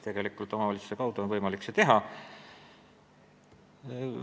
Tegelikult on seda edaspidi võimalik teha omavalitsuse kaudu.